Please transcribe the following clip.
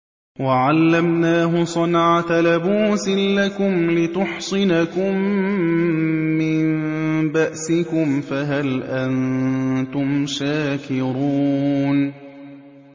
وَعَلَّمْنَاهُ صَنْعَةَ لَبُوسٍ لَّكُمْ لِتُحْصِنَكُم مِّن بَأْسِكُمْ ۖ فَهَلْ أَنتُمْ شَاكِرُونَ